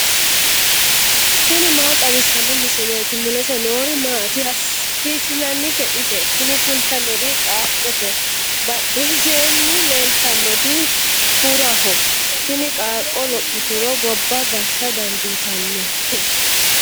tini maa xawissanno misileeti ? mulese noori maati ? hiissinannite ise ? tini kultannori qaaqqote badheseenni leeltannoti kuraho. tini qaaqqo lophituro gobba gashsha dandiitannote.